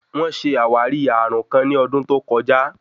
Wón ṣe àwárí ààrùn kàn ní ọdún tó kọjá.